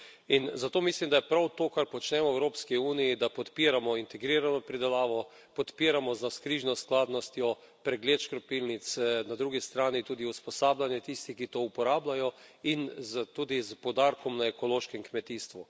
In zato mislim, da prav to, kar počnemo v Evropski uniji, da podpiramo integrirano pridelavo, podpiramo z navzkrižno skladnostjo pregled škropilnic, na drugi strani tudi usposabljanje tistih, ki to uporabljajo, in tudi s poudarkom na ekološkem kmetijstvu.